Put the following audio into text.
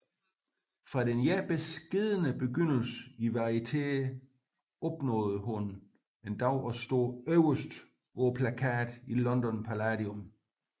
Fra denne beskedne begyndelse i varieteer opnåede hun en dag at stå øverst på plakaten i London Palladium